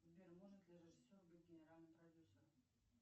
сбер может ли режиссер быть генеральным продюсером